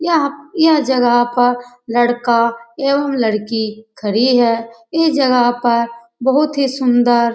यह यह जगह पर लड़का एवं लड़की खड़ी हैं इस जगह पर बहुत ही सुंदर --